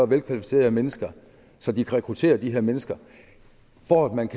velkvalificerede mennesker så de kan rekruttere de her mennesker for